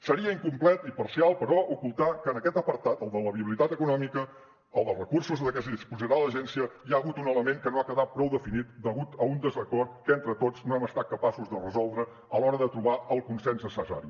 seria incomplet i parcial però ocultar que en aquest apartat el de la viabilitat econòmica el dels recursos de què disposarà l’agència hi ha hagut un element que no ha quedat prou definit degut a un desacord que entre tots no hem estat capaços de resoldre a l’hora de trobar el consens necessari